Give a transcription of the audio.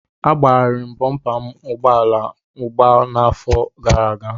Agbagharịrị m bọmpa ụgbọala m agba n'afọ gara aga.